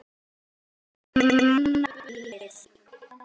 Margt er manna bölið.